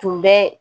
Tun bɛ